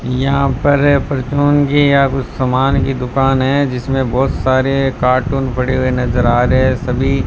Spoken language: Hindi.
यहां पर परचून की या कुछ समान की दुकान है जिसमें बहुत सारे कार्टून पड़े हुए नजर आ रहे है सभी--